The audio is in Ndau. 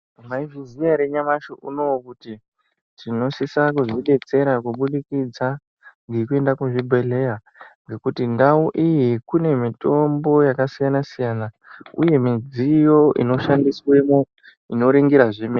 Mwaizviziya ere nyamashi unouyu kuti tinosise kuzvidetsera kubudikidza ngekuenda kuzvibhedhlera ngekuti ndau iyi kune mitombo yakasiyana siyana uye midziyo inoshandiswemwo inoringira zvemene.